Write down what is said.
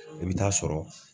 I bi t'a sɔrɔ